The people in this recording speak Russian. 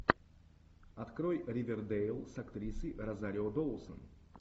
открой ривердейл с актрисой розарио доусон